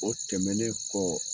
O tɛmɛnnen kɔ